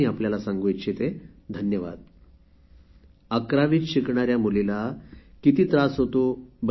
हे बघा बंधुभगिनींनो अकरावीत शिकणाऱ्या मुलीला किती त्रास होतो आहे